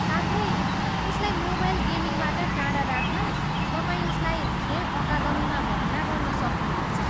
साथै, उसलाई मोबाइल गेमिङबाट टाढा राख्न, तपाईँ उसलाई खेल अकादमीमा भर्ना गर्न सक्नुहुनेछ।